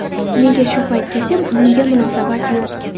Nega shu paytgacha bunga munosabat yo‘q?